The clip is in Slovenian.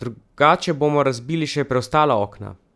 Drugače bomo razbili še preostala okna!